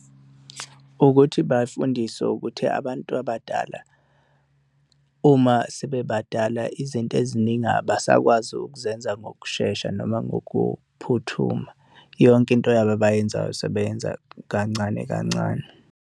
Ukuthi bafundiswe ukuthi abantu abadala uma sebebadala, izinto eziningi abasakwazi ukuzenza ngokushesha noma ngokuphuthuma. Yonke into yabo abayenzayo, sebeyenza kancane kancane.